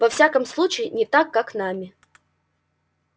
во всяком случае не так как нами